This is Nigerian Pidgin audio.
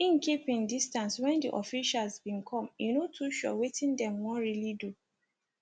im keep im distance when di officials bin come e no too sure wetin dem wan really do